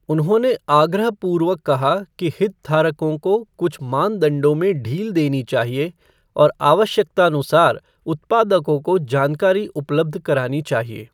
उन्होंने आग्रहपूर्वक कहा कि हितधारकों को कुछ मानदंडों में ढील देनी चाहिए और आवश्यकतानुसार उत्पादकों को जानकारी उपलब्ध करानी चाहिए।